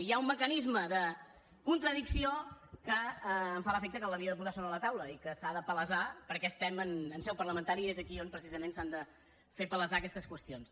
hi ha un mecanisme de contradicció que em fa l’efecte que l’havia de posar sobre la taula i que s’ha de palesar perquè estem en seu parlamentària i és aquí on precisament s’han de fer palesar aquestes qüestions